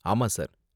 ஆமா சார்.